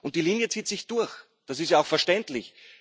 Die Linie zieht sich durch, das ist ja auch verständlich.